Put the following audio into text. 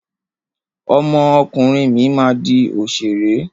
Ọmọ ọkùnrin mi máa di òṣèré.